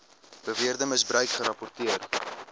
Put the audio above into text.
beweerde misbruik gerapporteer